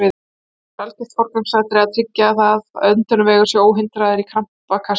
Hins vegar er algjört forgangsatriði að tryggja að öndunarvegur sé óhindraður í krampakasti.